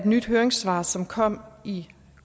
nyt høringssvar som kom i